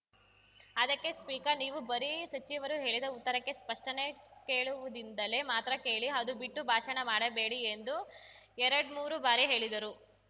ಅದಕ್ಕೆ ಸ್ಪೀಕರ್‌ ನೀವು ಬರೀ ಸಚಿವರು ಹೇಳಿದ ಉತ್ತರಕ್ಕೆ ಸ್ಪಷ್ಟನೆ ಕೇಳುವುದಿಂದಲೇ ಮಾತ್ರ ಕೇಳಿ ಅದು ಬಿಟ್ಟು ಭಾಷಣ ಮಾಡಬೇಡಿ ಎಂದು ಎರಡ್ಮೂರು ಬಾರಿ ಹೇಳಿದರು